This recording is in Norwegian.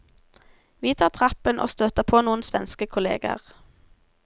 Vi tar trappen, og støter på noen svenske kolleger.